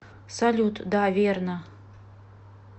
салют да верно